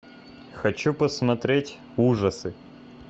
хочу посмотреть ужасы